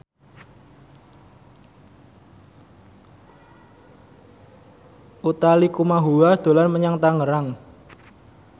Utha Likumahua dolan menyang Tangerang